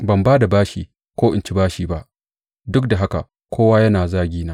Ban ba da bashi ko in ci bashi ba, duk da haka kowa yana zagina.